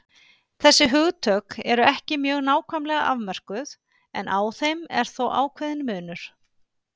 Þessi hugtök eru ekki mjög nákvæmlega afmörkuð en á þeim er þó ákveðinn munur.